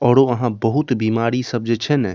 औरो वहाँ बहुत बीमारी सब जे छै ने --